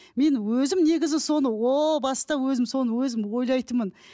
мен өзім негізі соны о баста өзім соны өзім ойлайтынмын